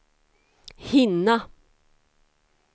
hinna